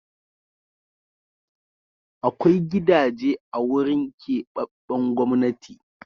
Akwai gidaje a wurin keɓaɓɓen Gwamnati.